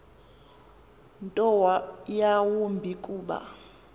nto yawumbi kuba